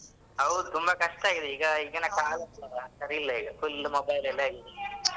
ಹೌದು ತುಂಬ ಕಷ್ಟ ಈಗ ಹೌದು ಈಗಿನ ಕಾಲ ಇದೆಲ್ಲ ಸರಿ ಇಲ್ಲ ಈಗ full mobile ಅಲ್ಲೇ ಇರುದು.